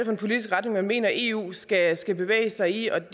en politisk retning man mener eu skal skal bevæge sig i